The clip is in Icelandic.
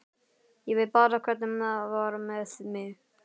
Ég veit bara hvernig var með mig.